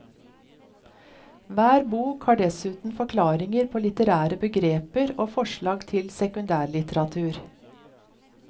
Hver bok har dessuten forklaringer på litterære begreper og forslag til sekundærlitteratur.